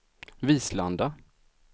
Vislanda